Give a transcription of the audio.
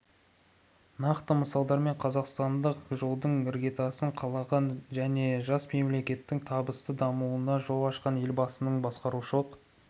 нақты мысалдармен қазақстандық жолдың іргетасын қалаған және жас мемлекеттің табысты дамуына жол ашқан елбасының басқарушылық